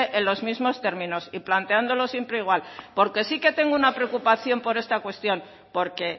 en los mismos términos y planteándolo siempre igual porque sí que tengo una preocupación por esta cuestión porque